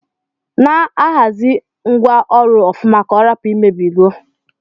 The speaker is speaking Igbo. Na ahazi ngwa ọrụ ọfụma ka ọrapu imebigo.